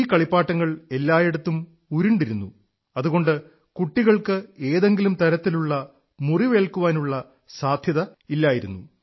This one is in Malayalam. ഈ കളിപ്പാട്ടങ്ങൾ എല്ലായിടത്തും ഉരുണ്ടിരുന്നു അതുകൊണ്ട് കുട്ടികൾക്ക് എന്തെങ്കിലും തരത്തിലുള്ള മുറിവേല്ക്കാനുള്ള സാധ്യതയില്ലായിരുന്നു